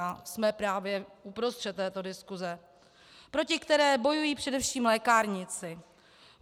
A jsme právě uprostřed této diskuse, proti které bojují především lékárníci.